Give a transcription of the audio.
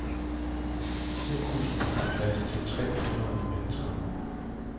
Cirkusen har plads til tre hundrede mennesker.